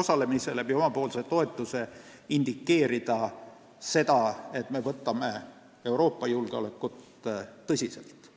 osalemise, omapoolse toetusega indikeerida seda, et me võtame Euroopa julgeolekut tõsiselt.